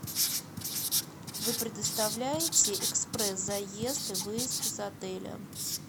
вы предоставляете экспресс заезд и выезд из отеля